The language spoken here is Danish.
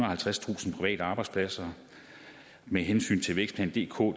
og halvtredstusind private arbejdspladser med hensyn til vækstplan dk